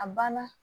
A banna